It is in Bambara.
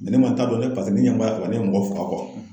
ne ma n ta dɔn dɛ. Paseke ne ɲɛ b'a la ne ye mɔgɔ faga